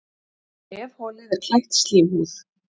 Nefholið er klætt slímhúð.